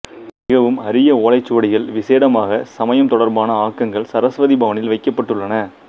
மிகவும் அரிய ஓலைச்சுவடிகள் விசேடமாக சமயம் தொடர்பான ஆக்கங்கள் சரஸ்வதி பவனில் வைக்கப்பட்டுள்ளன